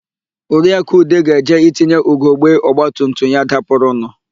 Oriakụ Ude ga-eje itinye ugogbe ọgbatumtum ya dapụrụnụ.